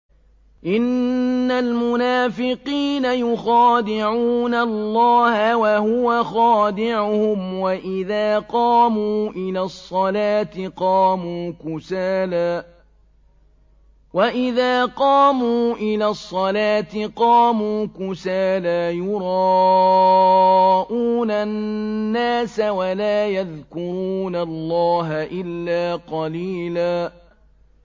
إِنَّ الْمُنَافِقِينَ يُخَادِعُونَ اللَّهَ وَهُوَ خَادِعُهُمْ وَإِذَا قَامُوا إِلَى الصَّلَاةِ قَامُوا كُسَالَىٰ يُرَاءُونَ النَّاسَ وَلَا يَذْكُرُونَ اللَّهَ إِلَّا قَلِيلًا